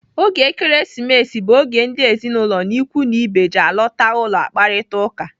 Oge Ekeresimesi bụ oge ndị ezinụlọ na ikwu na ibe ji alọta ụlọ akparita ụka.